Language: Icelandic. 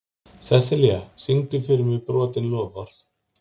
Seselía, syngdu fyrir mig „Brotin loforð“.